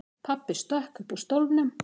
Pabbi stökk upp úr stólnum.